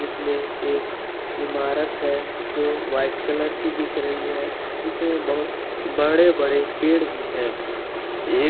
इसमें एक इमारत है जो वाइट कलर की दिख रही है इसमें बहुत बड़े बड़े पेड़ भी है एक --